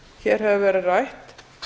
hér hefur verið rætt